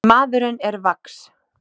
Maðurinn er vax.